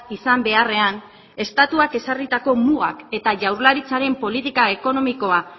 izan beharrean estatuak ezarritako mugak eta jaurlaritzaren politika ekonomikoa